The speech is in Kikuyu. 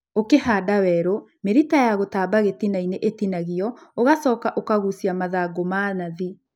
Ũkihanda werũ, mĩrita ya gũtamba gĩtinainĩ ĩtinagio ũgashoka ũkagushia mathangũ ma nathĩ